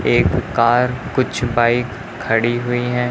एक कार कुछ बाइक खड़ी हुई हैं।